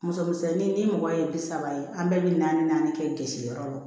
Muso misɛnnin ni mɔgɔ ye bi saba ye an bɛɛ bɛ naani naani kɛsiyɔrɔ la